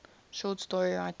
short story writer